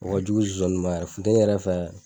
O ka jugu zonzani ma yɛɛrɛ futɛni yɛrɛ fɛ